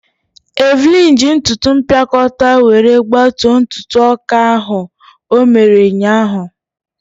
Evelyn ji ntụtụ mpịakọta were gbatuo ntụ ọka ahụ o mere ụnyaahụ.